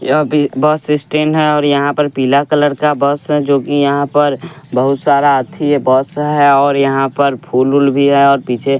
यह भी bus station है और यहाँ पर पीला कलर का बस है जोकि यहाँ पर बहुत सारा आथी है बस है और यहाँ पर फूलऊल भी है और पीछे --